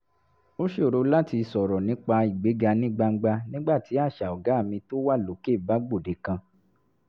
ó ṣòro láti sọ̀rọ̀ nípa ìgbéga ní gbangba nígbà tí àṣà ọ̀gá mi tó wà lókè bá gbòde kan